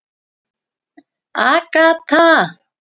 Agatha